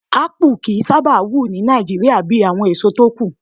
Ápù kì í sábà wù ní Nigeria bíi àwọn èso tókù